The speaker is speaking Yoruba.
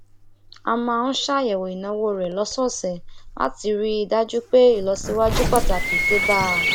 ó máa ń ṣàyèwò ìnáwó rẹ lósòòsè láti rí i dájú pé ìlọsíwájú pàtàkì dé bá a